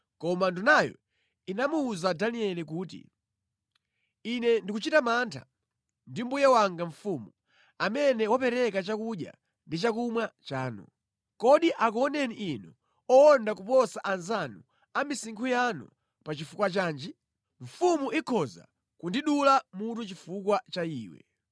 koma ndunayo inamuwuza Danieli kuti, “Ine ndikuchita mantha ndi mbuye wanga mfumu, amene wapereka chakudya ndi chakumwa chanu. Kodi akuoneni inu owonda kuposa anzanu a misinkhu yanu pa chifukwa chanji? Mfumu ikhoza kundidula mutu chifukwa cha iwe.”